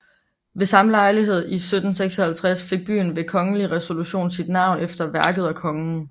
Ved samme lejlighed i 1756 fik byen ved kongelig resolution sit navn efter værket og kongen